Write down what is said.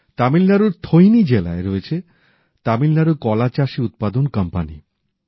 তামিলনাড়ুর থৈনি জেলায় রয়েছে তামিলনাড়ু কলাচাষী উৎপাদন কোম্পানী